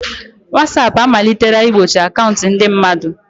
Watsap amalitela igbochi akaụntụ ndị mmadụ.